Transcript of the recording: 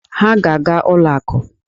Ha ga-aga ụlọ akụ